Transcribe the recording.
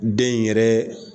Den in yɛrɛ